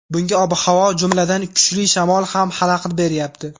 Bunga ob-havo, jumladan, kuchli shamol ham xalaqit beryapti.